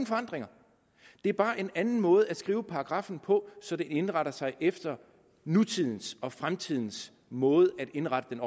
forandringer det er bare en anden måde at skrive paragraffen på så det indretter sig efter nutidens og fremtidens måde at indrette den